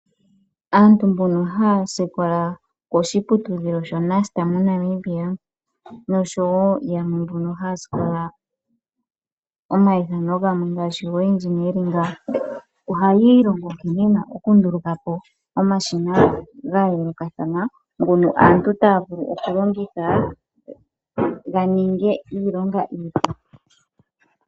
Aantu mbono haya sikola koshiputudhilo sho Nust mo Namibia noshowo yamwe mbyono haya sikola omayithano gamwe ngaashi go Engineering ohaya ilongo nkene yena oku ndulukapo omashina ga yoolokathana ngono aantu taya vulu oku longitha ga ninge iilonga iipu.